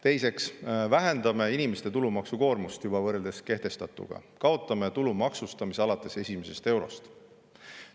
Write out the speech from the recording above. Teiseks vähendame inimeste tulumaksukoormust võrreldes juba kehtestatuga, kaotame tulumaksustamise alates esimesest eurost.